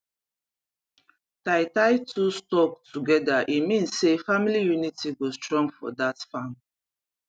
tie tie two stalk together e mean say family unity go strong for that farm